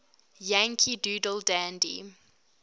yankee doodle dandy